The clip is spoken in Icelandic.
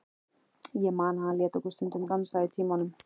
Ég man að hann lét okkur stundum dansa í tímunum.